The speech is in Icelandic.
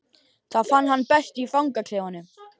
Það fann hann best í fangaklefanum.